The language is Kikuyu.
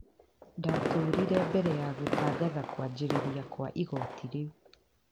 Ndatũririe mbere ya gũtangatha kũanjĩrĩria kwa igooti rĩu.